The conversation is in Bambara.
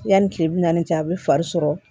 Yanni kile bi naani ni a bɛ fari sɔrɔ